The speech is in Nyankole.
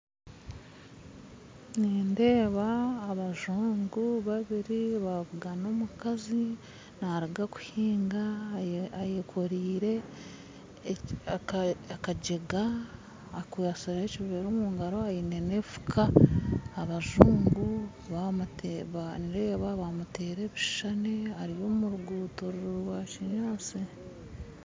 Nindeeba abazungu babiri babugana omukazi naruga kuhinga ayekoreire akajega akwatsire ekivera omungaro aine n'enfuka abazungu nindeeba bamutera ebishushani ari omurugutto rwa kinyantsi.